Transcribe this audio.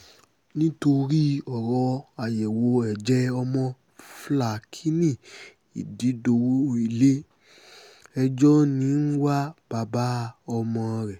nítorí ọ̀rọ̀ àyẹ̀wò ẹ̀jẹ̀ ọmọ flákíny ìdídọ́wọ́ ilé-ẹjọ́ ń wá bàbá ọmọ rẹ̀